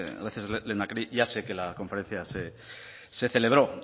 gracias lehendakari ya sé que la conferencia se celebró